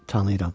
Tanıyıram.